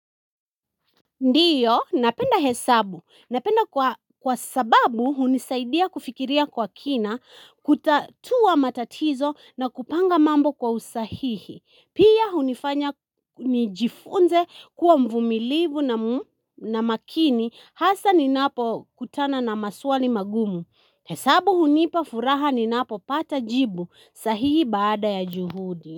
Ndiyo, napenda hesabu. Napenda kwa sababu hunisaidia kufikiria kwa kina, kutatua matatizo na kupanga mambo kwa usahihi. Pia hunifanya nijifunze kuwa mvumilivu na makini hasa ninapo kutana na maswali magumu. Hesabu hunipa furaha ninapo pata jibu sahihi baada ya juhudi.